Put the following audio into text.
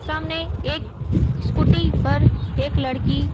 सामने एक स्कूटी पर एक लड़की--